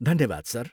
धन्यवाद सर।